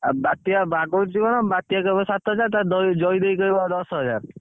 ଆଉ ବାତ୍ୟା ବାଗଉଛି କଣ ବାତ୍ୟା କହିବ ସାତ ହଜାର ଟଙ୍କା ଜଇଦେଇ କହିବ ଦଶ ହଜାର।